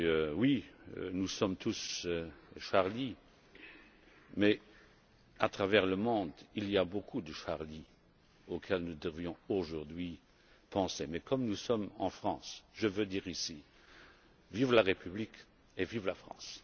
Oui, nous sommes tous Charlie mais, à travers le monde, il y a beaucoup de Charlie auxquels nous devons aujourd'hui penser. Cependant, comme nous sommes en France, je veux dire ici Vive la République et vive la France!.